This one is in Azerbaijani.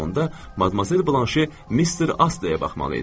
Elə onda Madmazel Blanşe Mister Asteyə baxmalı idi.